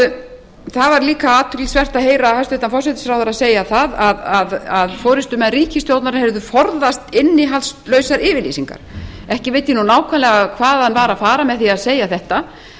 það var líka athyglisvert að heyra hæstvirtur forsætisráðherra segja það að forustumenn ríkisstjórnar hefðu forðast innihaldslausar yfirlýsingar ekki veit ég nákvæmlega hvað hann var að fara með því að segja þetta en